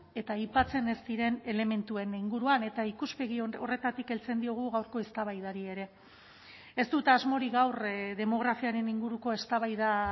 eta aipatzen ez diren elementuen inguruan eta ikuspegi horretatik heltzen diogu gaurko eztabaidari ere ez dut asmorik gaur demografiaren inguruko eztabaida